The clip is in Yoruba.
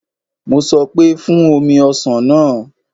Mo sọ pé, Fún omi ọsàn náà